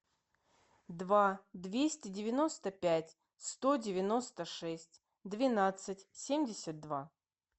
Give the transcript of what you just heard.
два двести девяносто пять сто девяносто шесть двенадцать семьдесят два